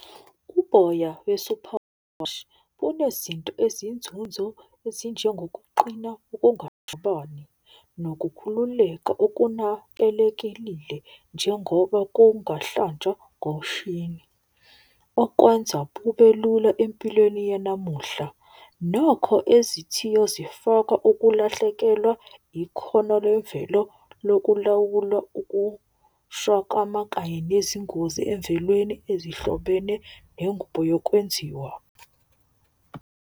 Uboya bunezinto eziyinzunzo ezinjengokuqina nokukhululeka okunakelekelile. Njengoba kungahlanjwa ngomshini, okwenza kubelula empilweni yanamuhla. Nokho ezithiyo zifaka ukulahlekelwa ikhono lemvelo lokulawula . Kanye nezingozi emvelweni ezihlobene nengubo yokwenziwa.